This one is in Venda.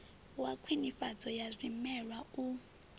wa khwinifhadzo ya zwimela u